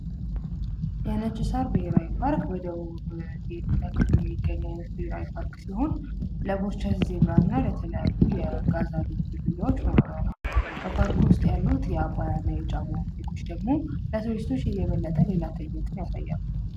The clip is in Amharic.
ነጭ ሳር ብሔራዊ ፓርክ ወይም ደግሞ በደቡብ ክልል የሚገኙ ብሔራዊ ፓርክ ሲሆን ለዜብራ እና ለተለያዩ እንስሳት መኖሪያ ነው። ውስጥ ያሉ የአባያ ጫሞ ወንዞች ደግሞ ለቱሪስቶች የበለጠ ሌላ ትእይንትን ያሳያሉ።